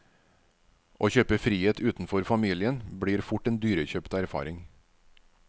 Å kjøpe frihet utenfor familien blir fort en dyrekjøpt erfaring.